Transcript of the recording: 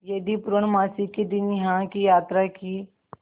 यदि पूर्णमासी के दिन यहाँ की यात्रा की